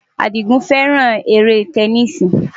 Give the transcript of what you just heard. Àdìgún fẹ́ràn eré tẹníìsì.